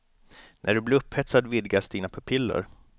När du blir upphetsad vidgas dina pupiller.